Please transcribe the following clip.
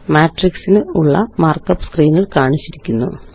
മാട്രിക്സിനുള്ള മാര്ക്കപ്പ് സ്ക്രീനില് കാണിച്ചിരിക്കുന്നു